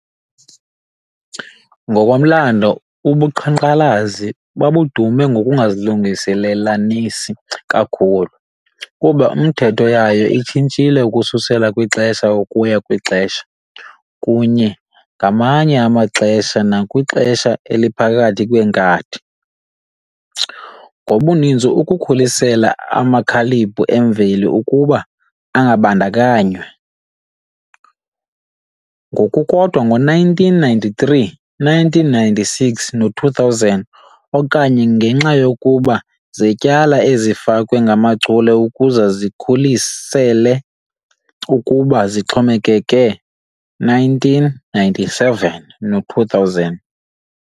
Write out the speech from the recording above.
Ngokomlando, ubuqhankqalazi babedume ngokungazilungelelanisi kakhulu, kuba nemithetho yayo ishintshile ukususela kwixesha ukuya kwixesha, kunye ngamanye amaxesha nakwixesha eliphakathi kwenkathi, ngokubanzi ukukhusela amakilabhu emveli ukuba angabandakanywa, ngokukodwa ngo-1993, 1996 no-2000, okanye ngenxa yokuba Zetyala ezifakwe ngamachule ukuze zikhulisele ukuba zixhomekeke, 1997 no-2000.